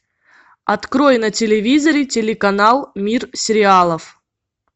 открой на телевизоре телеканал мир сериалов